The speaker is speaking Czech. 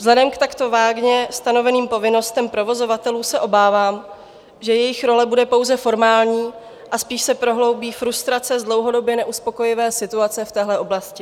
Vzhledem k takto vágně stanoveným povinnostem provozovatelů se obávám, že jejich role bude pouze formální a spíše se prohloubí frustrace z dlouhodobě neuspokojivé situace v téhle oblasti.